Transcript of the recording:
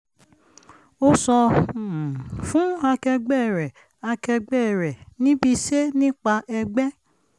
ó sọ um fún akẹgbẹ́ rẹ̀ akẹgbẹ́ rẹ̀ níbiṣé nípa ẹgbẹ́